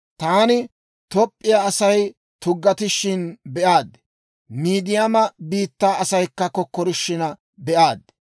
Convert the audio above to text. Taani Toop'p'iyaa Asay tuggatishin be'aad; Midiyaama biittaa asaykka kokkorishiina be'aad.